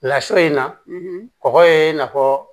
Lasun in na kɔkɔ ye i na fɔ